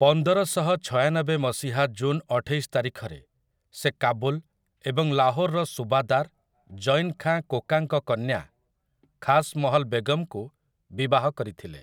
ପନ୍ଦରଶହ ଛୟାନବେ ମସିହା ଜୁନ୍ ଅଠେଇଶ ତାରିଖରେ ସେ କାବୁଲ୍ ଏବଂ ଲାହୋର୍‌ର ସୁବାଦାର୍, ଜୈନ୍ ଖାଁ କୋକାଙ୍କ କନ୍ୟା, ଖାସ୍ ମହଲ୍ ବେଗମ୍‌ଙ୍କୁ ବିବାହ କରିଥିଲେ ।